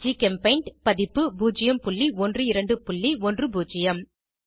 ஜிகெம்பெய்ண்ட் பதிப்பு 01210